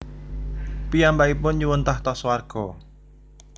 Piyambakipun nyuwun tahta swarga